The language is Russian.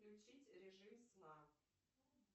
включить режим сна